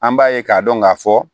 An b'a ye k'a dɔn k'a fɔ